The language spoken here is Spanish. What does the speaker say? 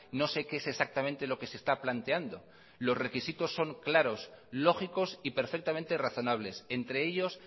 no sé qué es exactamente lo que se está planteando los requisitos son claros lógicos y perfectamente razonables entre ellos